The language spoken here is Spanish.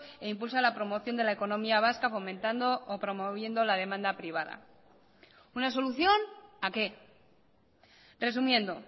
e impulsa la promoción de la economía vasca fomentando o promoviendo la demanda privada una solución a qué resumiendo